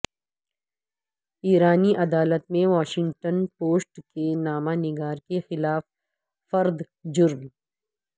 ایرانی عدالت میں واشنگٹن پوسٹ کے نامہ نگار کے خلاف فرد جرم